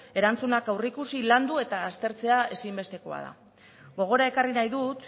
erantzunak aurreikusi landu eta aztertzea ezinbestekoa da gogora ekarri nahi dut